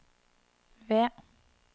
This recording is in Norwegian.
V